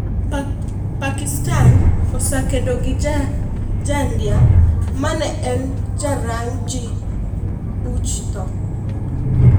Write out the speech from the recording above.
Pakistan oseng'edo ne ja ndia ma ne en ja rang' ji buch tho